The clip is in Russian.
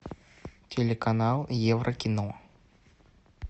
телеканал еврокино